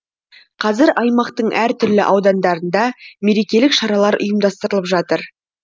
қазір аймақтың әртүрлі аудандарында мерекелік шаралар ұйымдастырылып жатыр